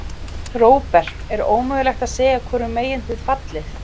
Róbert: Er ómögulegt að segja hvorum megin þið fallið?